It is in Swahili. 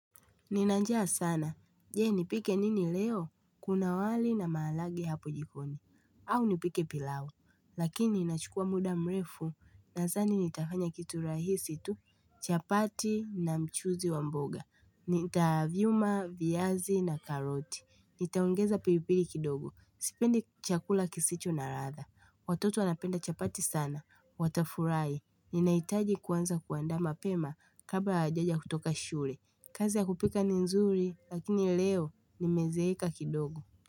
Nina njaa sana, je nipike nini leo? Kuna wali na maharage hapo jikoni, au nipike pilau, lakini inachukua muda mrefu nadhani nitafanya kitu rahisi tu, chapati na mchuzi wa mboga, nitavyuma viazi na karoti, nitaongeza pilipili kidogo, sipendi chakula kisicho na ladha, watoto wanapenda chapati sana, watafurahi, ninaitaji kwanza kuandaa mapema kabla hajaja kutoka shule, kazi ya kupika ni nzuri lakini leo nimezeweka kidogo.